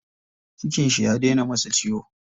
Cikin shi ya dena masa ciwo.